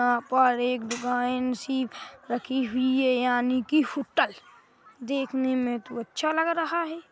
यहाँ पर एक दुकान सी रखी हुई है यानी की होटल देखने में तो अच्छा लग रहा है।